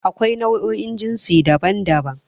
Akwai nau'o'in Jasi daban-daban.